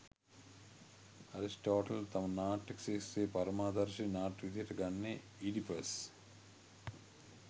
Aristotle තම නාට්‍ය ක්ෂේත්‍රයේ පරමාදර්ශී නාට්‍ය විදිහට ගන්නේ ඊඩිපස්